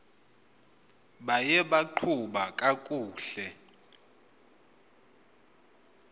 buye baqhuba kakuhle